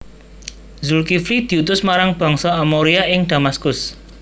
Zulkifli diutus marang Bangsa Amoria ing Damaskus